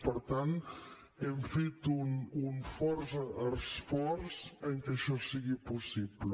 per tant hem fet un fort esforç perquè això sigui possible